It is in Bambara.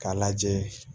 K'a lajɛ